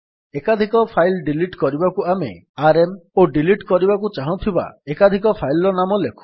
ଏକାଧିକ file delete କରିବାକୁ ଆମେ ଆରଏମ୍ ଓ ଡିଲିଟ୍ କରିବାକୁ ଚାହୁଁଥିବା ଏକାଧିକ ଫାଇଲ୍ ର ନାମ ଲେଖୁ